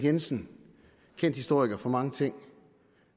jensen kendt historiker for mange ting